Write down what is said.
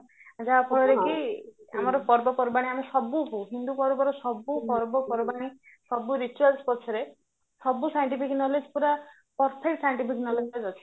ଯାହା ଫଳରେ କି ଆମର ପର୍ବ ପର୍ବାଣୀ ଆମେ ସବୁ ହଉ ହିନ୍ଦୁ ପର୍ବର ସବୁ ପର୍ବ ପର୍ବାଣି ସବୁ ପଛରେ ସବୁ scientific knowledge ପୁରା perfect scientific knowledge ଅଛି